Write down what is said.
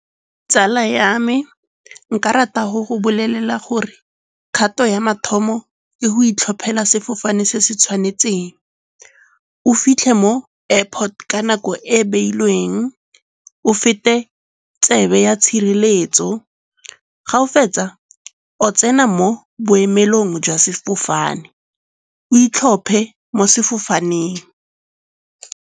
Tsala ya me nka rata go go bolelela gore kgato ya mathomo ke go itlhophela sefofane se se tshwanetseng. O fitlhe mo airport ka nako e e beilweng o feta tsebe ya tshireletso. Ga o fetsa, o tsena mo boemelong jwa sefofane, o itlhophe mo sefofaneng.